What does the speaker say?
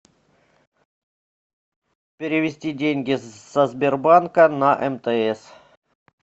перевести деньги со сбербанка на мтс